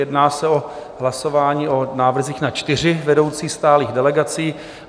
Jedná se o hlasování o návrzích na čtyři vedoucí stálých delegací.